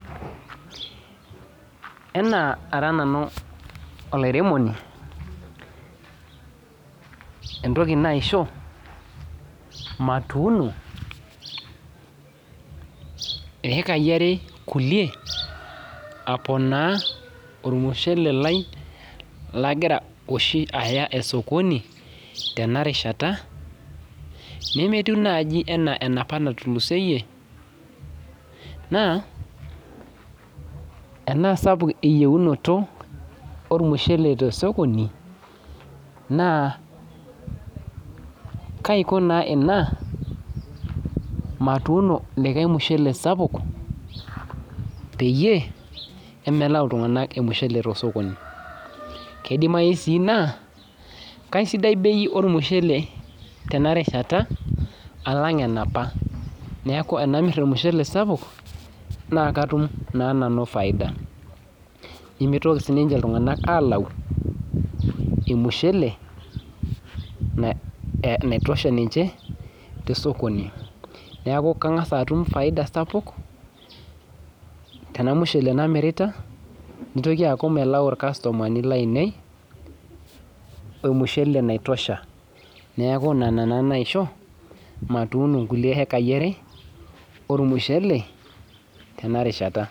Enaa ara nanu olaremoni entoki naisho matuuno ekai are kulie aponaa ormushele lailagira oshi aya osokoni tenarishata nemetiu oshi anapa natulusoyie na enasapuk eyieunoto ormushele tosokoni na kaiko na ina matuuno likae mushele sapuk pemelau ltunganak ormushele tosokoni kidimai si na kaisidai bei ormushele tenarishata alang enaapa neaku ore tanamir ormushele sapuk nakatum na nanu faida nimetoki sinche ltunganak alau ormushele oitosha ninche tosokoni neaku kangasa atum faida sapuk nitoki aaku melau irkastomani lainei ormushele naitosha neaku nona na naisho matuuno nkulie ekaibare ormushele tenarishata.